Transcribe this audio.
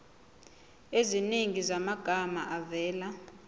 eziningi zamagama avela